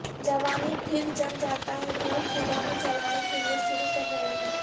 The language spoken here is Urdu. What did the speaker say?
جوانی پھر جم جاتا ہے بہت صبح میں چلانے کے لئے شروع کر رہے ہیں